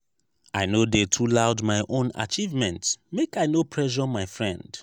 i no dey too loud my own achievement make i no pressure my friend.